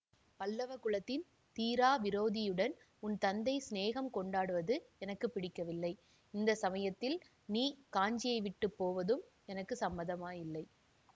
பல்லவ குலத்தின் தீரா விரோதியுடன் உன் தந்தை சிநேகம் கொண்டாடுவது எனக்கு பிடிக்கவில்லை இந்த சமயத்தில் நீ காஞ்சியைவிட்டுப் போவதும் எனக்கு சம்மதமாயில்லை